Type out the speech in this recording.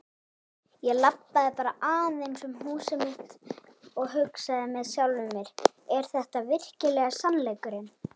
Ég labbaði bara aðeins um húsið og hugsaði með sjálfum mér: Er þetta virkilega veruleikinn?